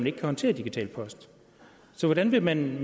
ikke kan håndtere digital post så hvordan vil man